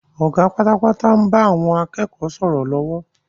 Ọ̀gá pátápátá ń bá àwọn akẹ́kọ̀ọ́ sọ̀rọ̀ lọ́wọ́